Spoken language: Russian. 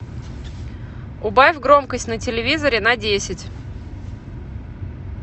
убавь громкость на телевизоре на десять